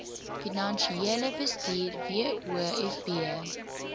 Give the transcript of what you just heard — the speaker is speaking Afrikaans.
finansiële bestuur wofb